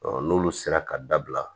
n'olu sera ka dabila